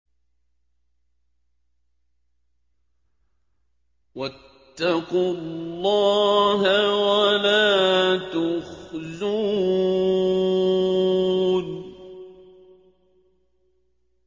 وَاتَّقُوا اللَّهَ وَلَا تُخْزُونِ